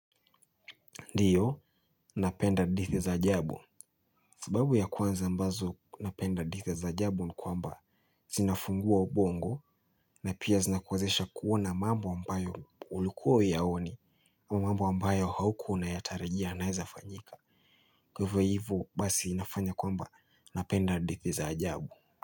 Ndiyo, napenda hadithi za ajabu. Sababu ya kwanza ambazo napenda hadithi za ajabu ni kwamba zinafungua ubongo na pia zinakuwezesha kuona mambo ambayo ulikuwa huyaoni au mambo ambayo haukuwa unayatarajia yanaweza fanyika. Kwa hivyo hivyo basi inafanya kwamba napenda hadithi za ajabu.